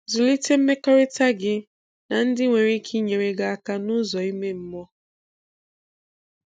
Zụlite mmekọrịta gị na ndị nwere ike inyere gị aka n'ụzọ ime mmụọ.